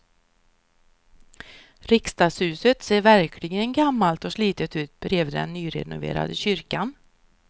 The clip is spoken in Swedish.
Riksdagshuset ser verkligen gammalt och slitet ut bredvid den nyrenoverade kyrkan.